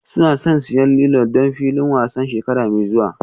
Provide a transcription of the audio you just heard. Suna son siyan lilo don filin wasan shekara mai zuwa